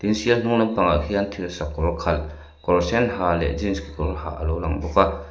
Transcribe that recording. sial hnung lampangah khian thirsakawr khalh kawr sen ha leh jeans kekawr ha a lo lang bawk a.